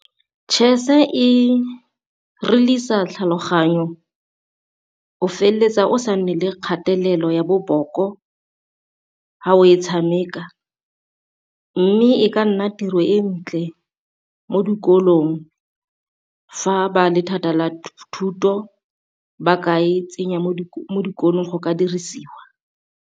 Chess e realise-sa tlhaloganyo o feleletsa o sa nne le kgatelelo ya boboko fa o e tshameka, mme e ka nna tiro e ntle mo dikolong fa ba le la thuto ba ka e tsenya mo dikolong go ka dirisiwa.